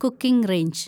cooking range